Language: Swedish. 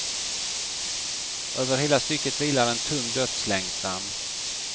Över hela stycket vilar en tung dödslängtan.